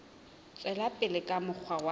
tswela pele ka mokgwa wa